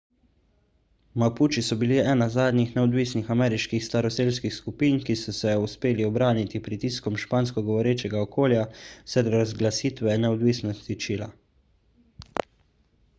mapuči so bili ena zadnjih neodvisnih ameriških staroselskih skupin ki so se uspeli ubraniti pritiskom špansko govorečega okolja vse do razglasitve neodvisnosti čila